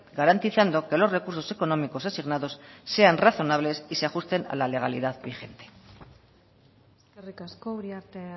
garantizando que los recursos económicos asignados sean razonables y se ajusten a la legalidad vigente eskerrik asko uriarte